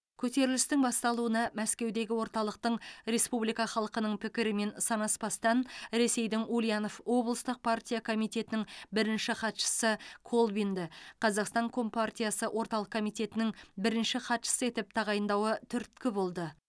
көтерілістің басталуына мәскеудегі орталықтың республика халқының пікірімен санаспастан ресейдің ульянов облыстық партия комитетінің бірінші хатшысы колбинді казақстан компартиясы орталық комитетінің бірінші хатшысы етіп тағайындауы түрткі болды